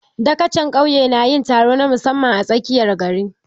Dagacin ƙauye na yin taron na musamman a tsakiyar gari